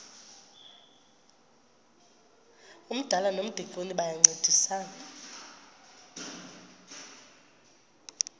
umdala nomdikoni bayancedisana